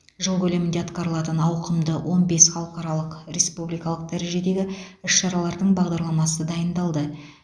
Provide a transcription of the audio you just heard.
жыл көлемінде атқарылатын ауқымды он бес халықаралық республикалық дәрежедегі іс шаралардың бағдарламасы дайындалды